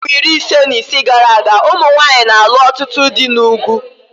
Afọ iri ise na ise gara aga, ụmụ nwanyị na-alụ ọtụtụ dị n'ugwu